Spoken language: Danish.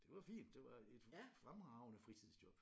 Det var fint det var et fremragende fritidsjob